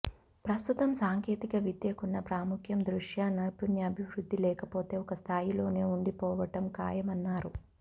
ప్రస్తుతం సాంకేతిక విద్యకున్న ప్రాముఖ్యం దృష్ట్యా నైపుణ్యాభివృద్ధి లేకపోతే ఒక స్థాయిలోనే ఉండిపోవడం ఖాయమన్నారు